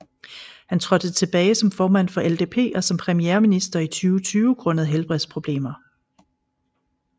Han trådte tilbage som formand for LDP og som premierminister i 2020 grundet helbredsproblemer